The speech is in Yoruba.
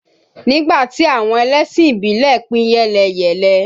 Nígbà tí àwọn ẹlẹ́sìn ìbílẹ̀ pín yẹ́lẹyẹ̀lẹ